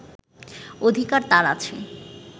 অধিকার তাঁর আছে